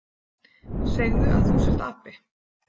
Segðu að þú sért api!